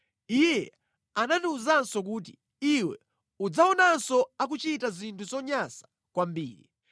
Iye anandiwuzanso kuti, ‘Iwe udzawaonanso akuchita zinthu zonyansa kwambiri.’ ”